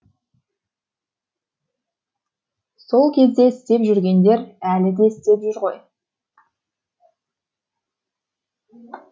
сол кезде істеп жүргендер әлі де істеп жүр ғой